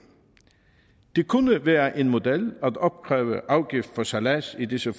det kunne være en model at opkræve en afgift for sejlads i disse